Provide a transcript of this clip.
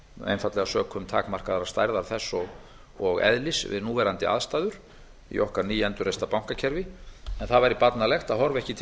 einfaldlega sökum takmarkaðrar stærðar þess og eðlis við núverandi aðstæður í okkar nýendurreista bankakerfi en það væri barnalegt að horfa ekki til